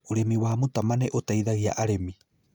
Ũrĩmi wa mũtama nĩ ũtaithagia arĩmi